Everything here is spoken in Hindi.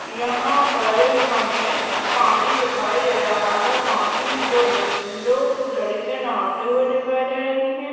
यहाँ पर हमें पानी दिखाई दे रहा है। पानी मे दो लेडी दो लड़कियाँ नहाते हुए दिखाई दे रही है।